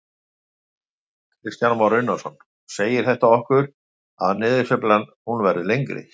Kristján Már Unnarsson: Segir þetta okkur að, að niðursveiflan hún verður lengri?